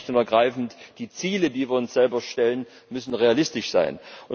Das heißt schlicht und ergreifend, die Ziele, die wir uns selber stellen, müssen realistisch sein.